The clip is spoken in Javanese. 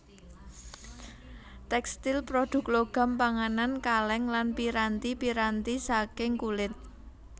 Tèkstil prodhuk logam panganan kalèng lan piranti piranti saking kulit